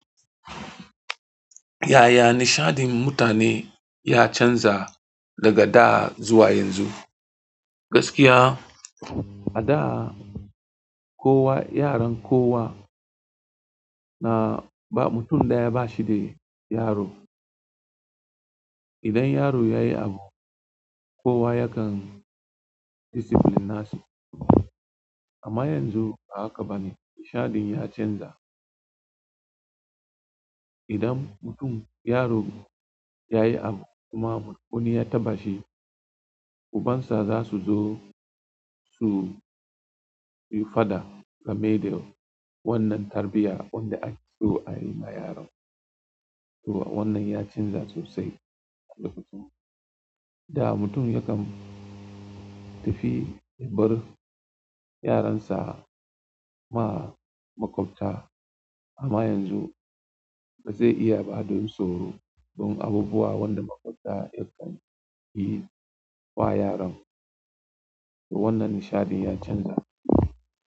Yaya nishadin mutane ya canza daga da zuwa yanzu? Gaskiya a da kowa, yaran kowa na ba mutum daya ba shi da yaro. Idan yaro yayi abu kiwa yakan discipline na shi amma yanzu ba haka bane nishadin ya canza. Idan mutum, yaro yayi abu kuma wani ya taɓa shi, uban sa zasu zo su yi faɗa game da wannan tarbiyya wanda ake so ayi ma yaron. To wannan ya canza sosai. Da mutum yakan tafi ya bar yaron sa ma makwabta amma yanzu ba zai iya ba don tsoro don abubuwa wanda makwabta yakan yi wa yaron. To wannan nishadin ya canza.